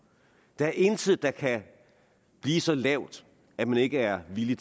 der er intet der kan blive så lavt at man ikke er villig